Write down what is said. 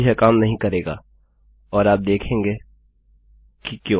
अब यह काम नहीं करेगा और आप देखेंगे कि क्यों